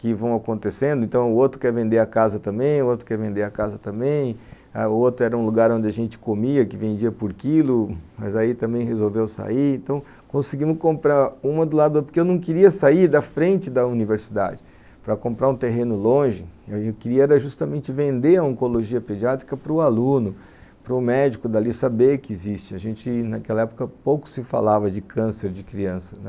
que vão acontecendo, então o outro quer vender a casa também, o outro quer vender a casa também, o outro era um lugar onde a gente comia, que vendia por quilo, mas aí também resolveu sair, então conseguimos comprar uma do lado, porque eu não queria sair da frente da universidade para comprar um terreno longe, eu queria era justamente vender a oncologia pediátrica para o aluno, para o médico dali saber que existe, a gente naquela época pouco se falava de câncer de criança, né?